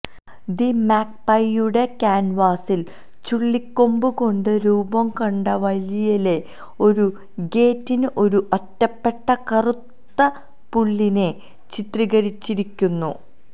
the മാഗ്പൈയുടെ ക്യാൻവാസിൽ ചുള്ളിക്കൊമ്പ്കൊണ്ട് രൂപംകൊണ്ട വേലിയിലെ ഒരു ഗേറ്റിൽ ഒരു ഒറ്റപ്പെട്ട കറുത്ത പുള്ളിനെ ചിത്രീകരിച്ചിരിക്കുന്നു